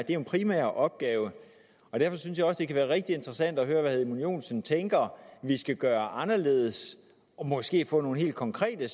en primær opgave og derfor synes jeg også det kunne være rigtig interessant at høre hvad herre edmund joensen tænker vi skal gøre anderledes og måske få nogle helt konkrete